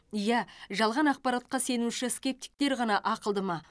ия жалған ақпаратқа сенуші скептиктер ғана ақылды ма